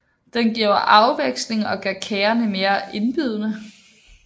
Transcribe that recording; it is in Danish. Den giver afveksling og gør kagerne mere indbydende